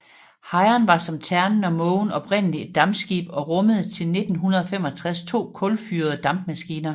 Hejren var som Ternen og Mågen oprindeligt et dampskib og rummede til 1965 to kulfyrede dampmaskiner